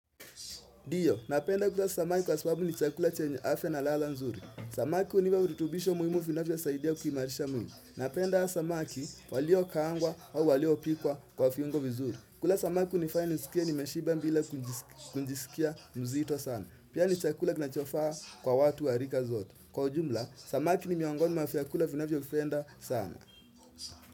Ndiyo, ninapenda kula samaki kwasababu ni chakula chenye afya na ladha nzuri. Samaki hunipa virutubisho muhimu vinavyo saidia kuimarisha mwili. Ninaapenda samaki walio kaangwa au walio pikwa kwa viungo vizuri. Kula samaki hunifanya nisikie nimeshiba bila kujisikia mzito sana. Pia ni chakula kinachofaa kwa watu warika zote. Kwa ujumla, samaki ni miongoni mwa vyakula vinavyo pendwa sana.